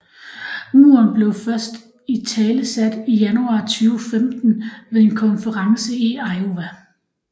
Muren blev først italesat i januar 2015 ved en konference i Iowa